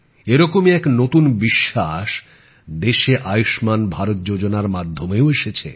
এরকমই এক নতুন বিশ্বাস দেশে আয়ুষ্মান ভারত যোজনা মাধ্যমেও এসেছে